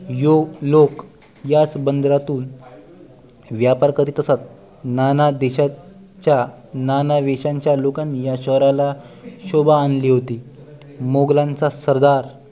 yoke लोक याच बंदरातून व्यापार करीत असत नाना देशांच्या नाना वेशांच्या या लोकांनी शहराला शोभा आणली होती मुघलांचा सरदार